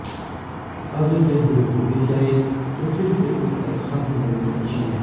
अगर यह रोबो गिर जाए तो फिर से उठकर खडा होने में सक्षम है